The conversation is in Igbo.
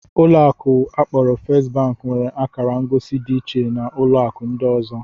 Ụlọ akụ akporo First bank nwere akara ngosi dị iche na ụlọ akụ ndị ọzọ